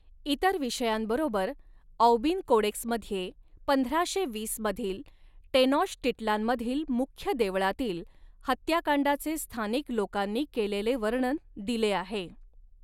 इतर विषयांबरोबर औबिन कोडेक्समध्ये पंधराशे वीस मधील टेनॉश्टिट्लानमधील मुख्य देवळातील हत्याकांडाचे स्थानिक लोकांनी केलेले वर्णन दिले आहे.